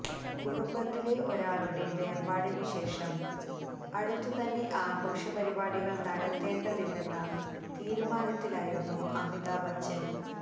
കുടുംബത്തിലെ ഒരാളുടെ വേര്പാടിനു ശേഷം അടുത്തു തന്നെ ആഘോഷ പരിപാടികള് നടത്തേണ്ടതില്ലെന്ന തീരുമാനത്തിലായിരുന്നു അമിതാഭ് ബച്ചന്